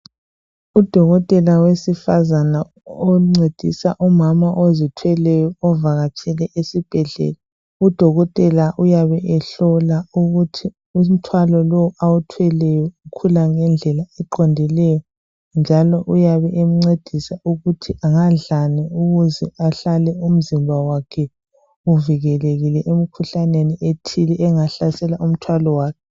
Udokotela wesifazana oncedisa umama ozithweleyo ovakatshele esibhedlela. Udokotela uyabe ehlola ukuthi umthwalo lo awuthweleyo, ukhula ngendlela eqondileyo., njalo uyabe emncedisa ukuthi angadlani ukuze ahlale umzimba wakhe uvikelekile emkhuhlaneni ethile. Engahlasela umthwalo wakhe.